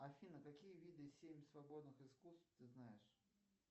афина какие виды семь свободных искусств ты знаешь